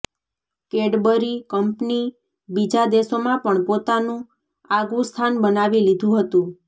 Cadbury company બીજા દેશોમાં પણ પોતાનું આગવું સ્થાન બનાવી લીધું હતું